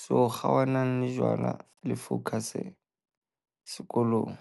So kgaohanelang le jwala, le focus sekolong.